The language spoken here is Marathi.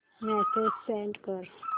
मेसेज सेंड कर